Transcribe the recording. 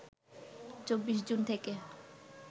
২৪ জুন থেকে